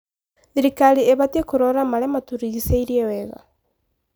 Thirikari ĩbatiĩ kũrora marĩa matũrigicĩirie wega.